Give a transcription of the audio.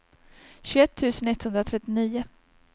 tjugoett tusen etthundratrettionio